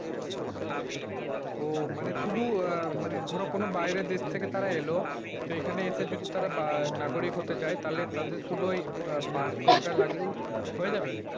ও মানে শুধু আহ মানে ধরো কোন বাইরের দেশ থেকে তারা এলো, তো এখানে এসে যদি তারা বা নাগরিক হতে চাই তাহলে তাদের শুধু ঐ passport টা লাগলেই হয়ে যাবে?